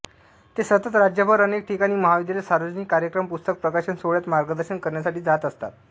ते सतत राज्यभर अनेक ठिकाणी महाविद्यालय सार्वजनिक कार्यक्रम पुस्तक प्रकाशन सोहळ्यात मार्गदर्शन करण्यासाठी जात असतात